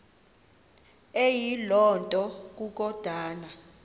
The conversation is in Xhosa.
eyiloo nto kukodana